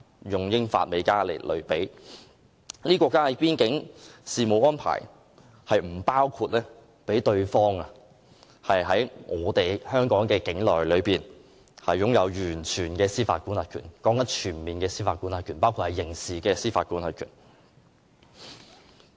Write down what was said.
因為這些國家之間的邊境事務安排，並不包括讓對方在己方境內擁有完全的司法管轄權，我所說的是全面的司法管轄權，包括刑事司法管轄權。